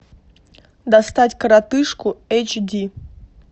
достать коротышку эйч ди